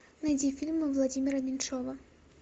найди фильмы владимира меньшова